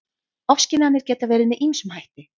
Ofskynjanir geta verið með ýmsum hætti.